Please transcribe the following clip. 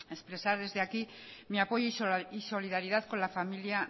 expresar desde aquí mi apoyo y solidaridad con la familia